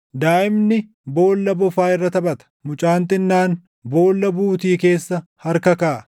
Daaʼimni boolla bofaa irra taphata; mucaan xinnaan boolla buutii keessa harka kaaʼa.